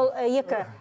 ол ы екі